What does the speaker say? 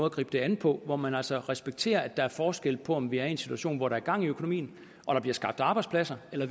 at gribe det an på hvor man altså respekterer at der er forskel på om vi er i en situation hvor der er gang i økonomien og der bliver skabt arbejdspladser eller